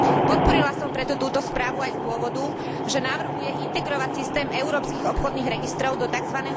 Podporila som preto túto správu aj z dôvodu, že navrhuje integrovať systém európskych obchodných registrov do tzv.